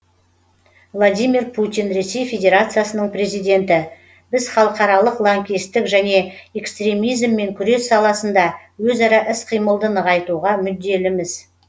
владимир путин ресей федерациясының президенті біз халықаралық лаңкестік және экстремизммен күрес саласында өзара іс қимылды нығайтуға мүдделіміз